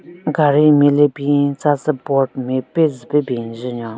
Gaari nme le bin tsa tsü board nme pe zu pe ben njen nyon.